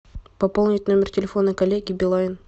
пополнить номер телефона коллеги билайн